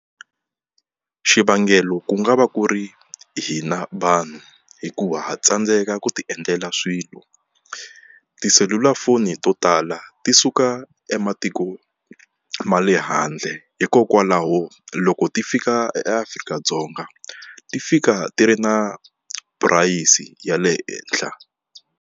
Xivangelo ku nga va ku ri hina vanhu hikuva ha tsandzeka ku ti endlela swilo tiselulafoni to tala ti suka ematiko ma le handle hikokwalaho loko ti fika eAfrika-Dzonga ti fika ti ri na purayisi ya le henhla.